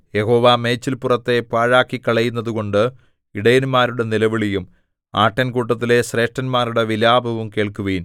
യഹോവ മേച്ചില്പുറത്തെ പാഴാക്കിക്കളയുന്നതുകൊണ്ട് ഇടയന്മാരുടെ നിലവിളിയും ആട്ടിൻകൂട്ടത്തിലെ ശ്രേഷ്ഠന്മാരുടെ വിലാപവും കേൾക്കുവിൻ